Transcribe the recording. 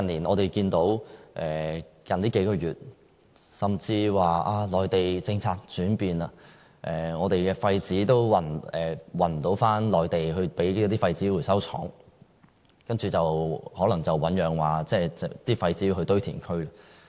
我們近月看到內地政策轉變，以致不能把廢紙運回內地的廢紙回收廠，那些廢紙可能要運往堆填區。